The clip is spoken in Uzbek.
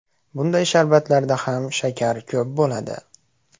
Bunday sharbatlarda ham shakar ko‘p bo‘ladi.